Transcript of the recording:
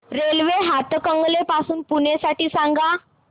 railway Hatkanangale ते पुणे साठी सांगा